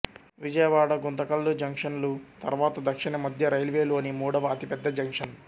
విజయవాడ గుంతకల్ జంక్షన్లు తర్వాత దక్షిణ మధ్య రైల్వే లోని మూడవ అతిపెద్ద జంక్షన్